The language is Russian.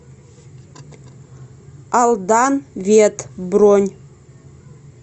алдан вет бронь